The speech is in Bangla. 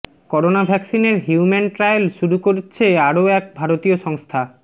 করোনা ভ্যাক্সিনের হিউম্যান ট্রায়াল শুরু করছে আরও এক ভারতীয় সংস্থা